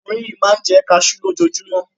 Ọkùnrin yìí máa ń jẹ́ kaṣú lójoojúmọ́.